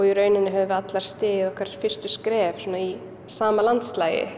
í rauninni höfum við allar stigið okkar fyrstu skref í sama landslagi